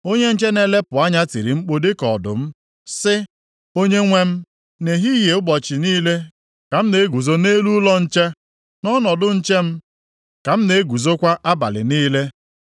Onye nche na-elepụ anya tiri mkpu dịka ọdụm, sị, “Onyenwe m, nʼehihie ụbọchị niile ka m na-eguzo nʼelu ụlọ nche, nʼọnọdụ nche m ka m na-eguzokwa abalị niile.